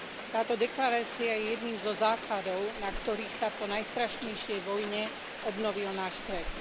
Táto deklarácia je jedným zo základov, na ktorých sa po najstrašnejšej vojne obnovil náš svet.